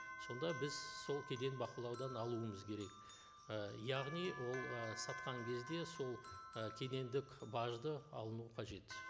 сонда біз сол кеден бақылаудан алуымыз керек і яғни ол ы сатқан кезде сол ы кедендік бажды алыну қажет